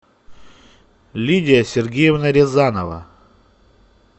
лидия сергеевна рязанова